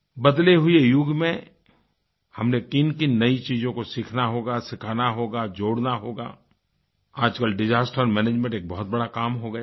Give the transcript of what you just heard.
बदले हुए युग में हमनें किनकिन नई चीज़ों को सीखना होगा सिखाना होगा जोड़ना होगा आजकल डिसास्टर मैनेजमेंट एक बहुत बड़ा काम हो गया है